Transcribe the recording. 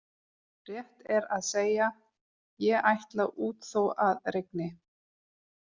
Rétt er að segja: ég ætla út þó að rigni